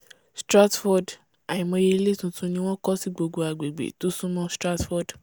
stratford àìmọyé ilé tuntun ni wọ́n kọ́ sí gbogbo agbègbè tó súnmọ́ stratford